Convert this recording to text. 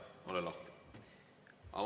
Jaa, ole lahke!